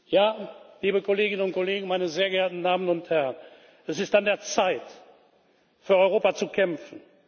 Ja, liebe Kolleginnen und Kollegen, meine sehr geehrten Damen und Herren, es ist an der Zeit, für Europa zu kämpfen!